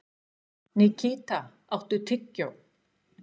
Nikíta, áttu tyggjó?